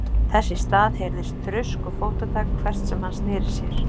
Þess í stað heyrðist þrusk og fótatak hvert sem hann sneri sér.